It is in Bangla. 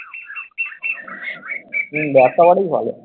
হম ব্যবসা করলেই ভালো,